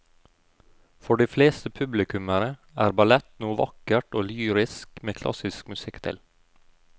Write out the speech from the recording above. For de fleste publikummere er ballett noe vakkert og lyrisk med klassisk musikk til.